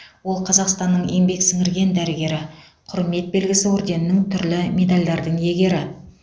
ол қазақстанның еңбек сіңірген дәрігері құрмет белгісі орденінің түрлі медальдардың иегері